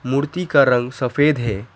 मूर्ति का रंग सफेद है।